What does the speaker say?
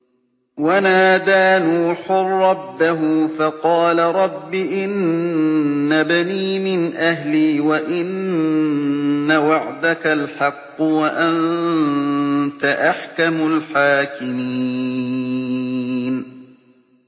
وَنَادَىٰ نُوحٌ رَّبَّهُ فَقَالَ رَبِّ إِنَّ ابْنِي مِنْ أَهْلِي وَإِنَّ وَعْدَكَ الْحَقُّ وَأَنتَ أَحْكَمُ الْحَاكِمِينَ